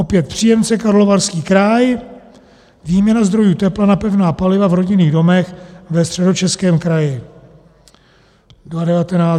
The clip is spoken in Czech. Opět příjemce Karlovarský kraj, výměna zdrojů tepla na pevná paliva v rodinných domech ve Středočeském kraji.